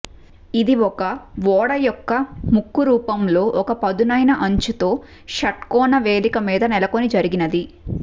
ఇది ఒక ఓడ యొక్క ముక్కు రూపంలో ఒక పదునైన అంచు తో షట్కోణ వేదిక మీద నెలకొని జరిగినది